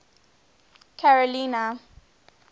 carolina